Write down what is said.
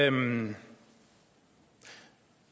imellem